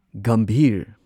Gambhir